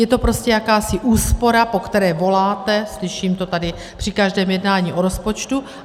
Je to prostě jakási úspora, po které voláte, slyším to tady při každém jednání o rozpočtu.